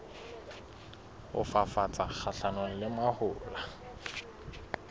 ho fafatsa kgahlanong le mahola